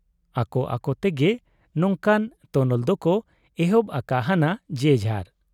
ᱟᱠᱚ ᱟᱠᱚᱛᱮ ᱜᱮ ᱱᱚᱝᱠᱟᱱ ᱛᱚᱱᱚᱞ ᱫᱚᱠᱚ ᱮᱦᱚᱵ ᱟᱠᱟ ᱦᱟᱱᱟ ᱡᱮᱡᱷᱟᱨ ᱾